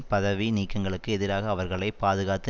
பதவி நீக்கங்களுக்கு எதிராக அவர்களை பாதுகாத்து